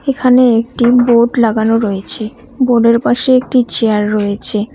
এখানে একটি বোর্ড লাগানো রয়েছে বোর্ডের পাশে একটি চেয়ার রয়েছে।